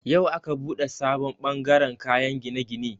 Yau aka buɗe sabon bangaren kayan gine-gine.